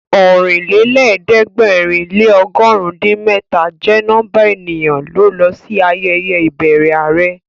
Ọ̀rìnlẹ́lẹ̀ẹ́dẹ̀gbẹ̀rin lé ọgọ̀run din mẹ́ta jẹ́ nọ́mbà ènìyàn ló lọ sí ayẹyẹ ìbẹrẹ are